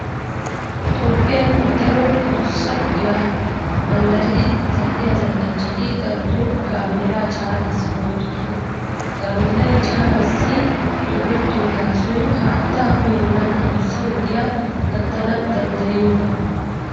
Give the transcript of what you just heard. Toophphiyan daro adussa ogiya manddaridi zal"iya zal"anchchati darotoo gaameelaa caanaassi go"ettoosona. Gaameelay caanaassi doorettiyo gaasoy haattaa uyennan adussa wodiya gattana danddayiyoogaa.